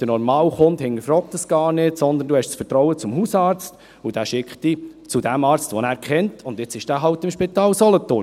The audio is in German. Der normale Kunde hinterfragt das gar nicht, sondern du hast das Vertrauen zum Hausarzt, und der schickt dich zu dem Arzt, den er kennt, und jetzt ist der nun eben im Spital Solothurn.